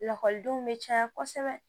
Lakɔlidenw bɛ caya kosɛbɛ